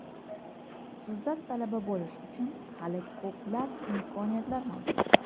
Sizda talaba bo‘lish uchun hali ko‘plab imkoniyatlar mavjud!